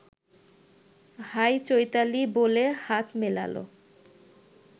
high Chaitali বলে হাত মেলাল